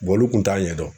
olu kun t'a ɲɛdɔn